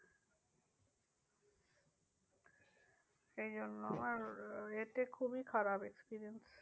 সেই জন্য আর এতে খুবিই খারাপ experience.